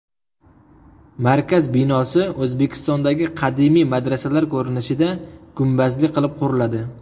Markaz binosi O‘zbekistondagi qadimiy madrasalar ko‘rinishida, gumbazli qilib quriladi.